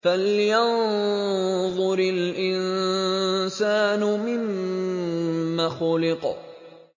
فَلْيَنظُرِ الْإِنسَانُ مِمَّ خُلِقَ